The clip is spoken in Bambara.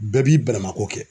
Bɛɛ b'i balimanko kɛ